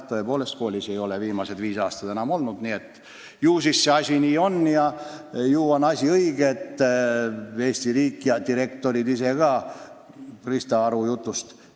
Viimased viis aastat ei ole ma enam koolis olnud, ju siis see asi nii on, nagu ma Krista Aru jutust aru sain.